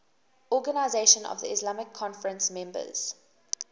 organisation of the islamic conference members